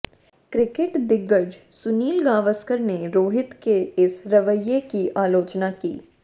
cricket दिग्गज सुनील गावस्कर ने रोहित के इस रवैये की आलोचना की